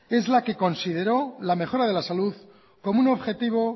es la que consideró la mejora de la salud como un objetivo